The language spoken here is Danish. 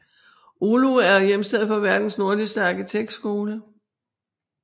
Oulu er hjemsted for verdens nordligste arkitektskole